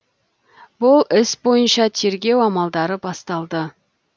бұл іс бойынша тергеу амалдары басталды